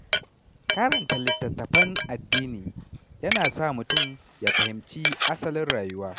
Karanta littattafan addini yana sa mutum ya fahimci asalin rayuwa.